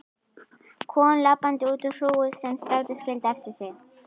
Kom labbandi út úr hrúgu sem strætó skildi eftir sig.